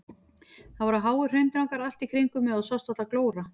Það voru háir hraundrangar allt í kringum mig og það sást varla glóra.